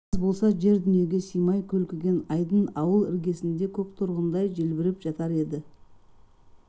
жаз болса жер дүниеге сыймай көлкіген айдын ауыл іргесінде көк торғындай желбіреп жатар еді